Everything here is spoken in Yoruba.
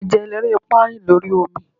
eja elerepa rin l'ori omi